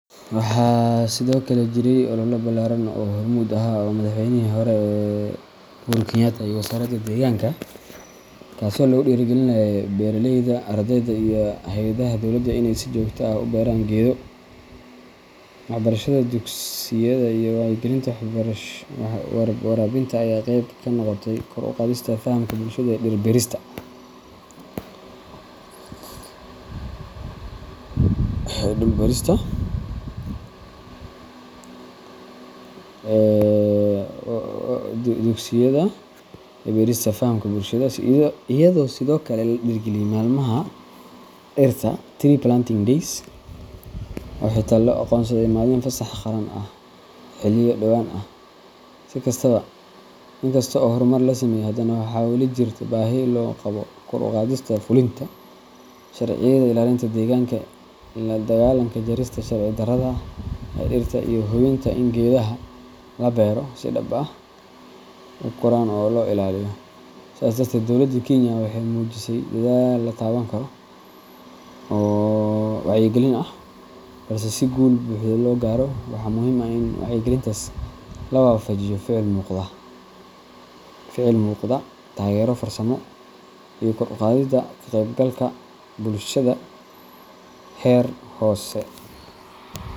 Waxaa sidoo kale jiray olole ballaaran oo uu hormuud u ahaa Madaxweynihii hore Uhuru Kenyatta iyo wasaaradda deegaanka, kaasoo lagu dhiirrigelinayay beeraleyda, ardayda, iyo hay’adaha dowladda in ay si joogto ah u beeraan geedo. Waxbarashada dugsiyada iyo wacyigelinta warbaahinta ayaa qayb ka noqotay kor u qaadista fahamka bulshada ee dhir-beerista, iyadoo sidoo kale la dhiirrigeliyay maalmaha dhirta Tree Planting Days oo xitaa loo aqoonsaday maalin fasax qaran ah xilliyo dhowaan ah. Si kastaba, inkasta oo horumar la sameeyay, haddana waxaa weli jirta baahi loo qabo kor u qaadista fulinta sharciyada ilaalinta deegaanka, la dagaallanka jarista sharci darrada ah ee dhirta, iyo hubinta in geedaha la beero ay si dhab ah u koraan oo loo ilaaliyo. Sidaas darteed, dowladda Kenya waxay muujisay dadaal la taaban karo oo wacyigelin ah, balse si guul buuxda loo gaaro, waxaa muhiim ah in wacyigelintaas la waafajiyo ficil muuqda, taageero farsamo, iyo kor u qaadidda ka qaybgalka bulshada heer hoose.